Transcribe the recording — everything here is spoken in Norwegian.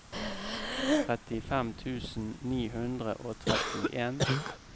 trettifem tusen ni hundre og trettien